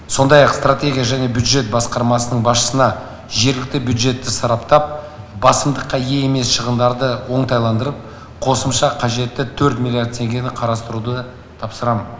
сондай ақ стратегия және бюджет басқармасының басшысына жергілікті бюджетті сараптап басымдыққа ие емес шығындарды оңтайландырып қосымша қажетті төрт миллиард теңгені қарастыруды тапсырамын